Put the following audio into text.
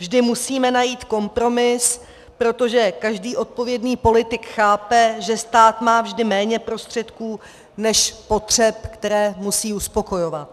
Vždy musíme najít kompromis, protože každý odpovědný politik chápe, že stát má vždy méně prostředků než potřeb, které musí uspokojovat.